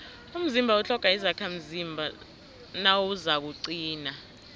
umzimba utlhoga izakhamzimba nawuzakuqina